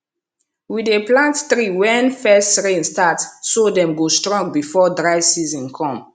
we dey plant tree when first rain start so dem go strong before dry season come